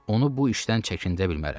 Onu bu işdən çəkindirə bilmərəm.